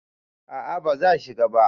a a ba za shi ba